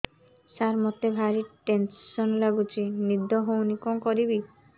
ସାର ମତେ ଭାରି ଟେନ୍ସନ୍ ଲାଗୁଚି ନିଦ ହଉନି କଣ କରିବି